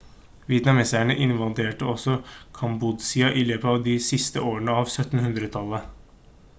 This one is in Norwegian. vietnameserne invaderte også kambodsja i løpet av de siste årene av 1700-tallet